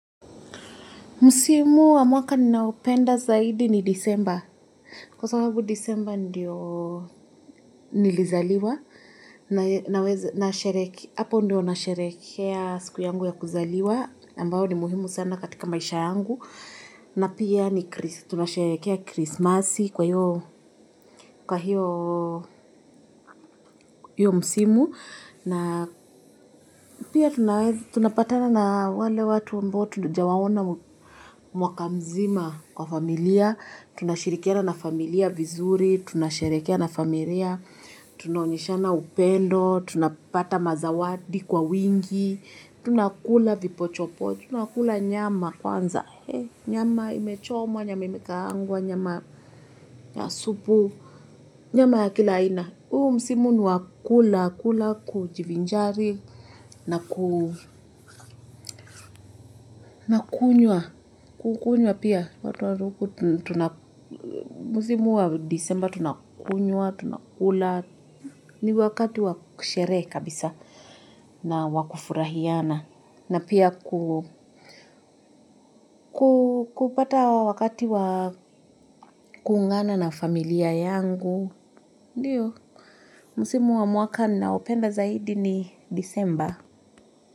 Msimu wa mwaka ninaopenda zaidi ni disemba, kwa sababu disemba ndio nilizaliwa, naweza na shereke, hapo ndio na sherehekea siku yangu ya kuzaliwa, ambayo ni muhimu sana katika maisha yangu, na pia tunasherekea krismasi kwa hiyo, kwa hiyo, hiyo msimu, na pia tunapatana na wale watu ambao tujawaona mwaka mzima kwa familia, tunashirikiana na familia vizuri, tunasherekea na familia, tunaonyeshana upendo, tunapata mazawadi kwa wingi, tunakula vipochopocho, tunakula nyama kwanza, nyama imechomwa, nyama imekaangwa, nyama ya supu, nyama ya kila aina. Na huu msimu ni wa kula, kula, kujivinjari naku kukunywa, kukunywa pia. Msimu wa disemba tunakunywa, tunakula, ni wakati wa sherehe kabisa na wakufurahiana. Na pia kupata wakati wakuungana na familia yangu. Ndio, msimu wa mwaka ninaopenda zaidi ni disemba.